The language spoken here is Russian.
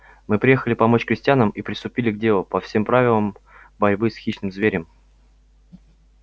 мы приехали помочь крестьянам и приступили к делу по всем правилам борьбы с хищным зверем